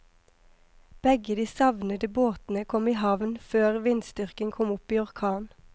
Begge de savnede båtene kom i havn før vindstyrken kom opp i orkan.